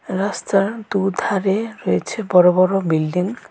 রাস্তার দুধারে রয়েছে বড় বড় বিল্ডিং ।